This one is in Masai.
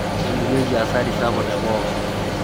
talikioki hasari sapuk te pooki